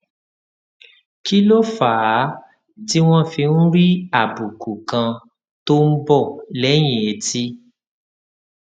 kí ló fà á tí wón fi ń rí àbùkù kan tó ń bò léyìn etí